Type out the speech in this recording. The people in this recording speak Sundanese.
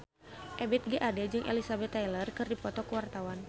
Ebith G. Ade jeung Elizabeth Taylor keur dipoto ku wartawan